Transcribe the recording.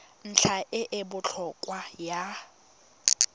ntlha e e botlhokwa ya